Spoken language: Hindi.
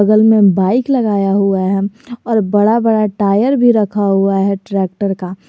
बगल में बाइक लगाया हुआ है और बड़ा बड़ा टायर भी रखा हुआ है ट्रैक्टर का।